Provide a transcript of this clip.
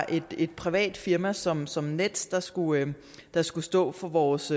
et privat firma som som nets der skulle der skulle stå for vores